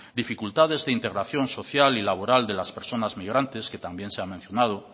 dificultades de integración social y laboral de las personas migrantes que también se ha mencionado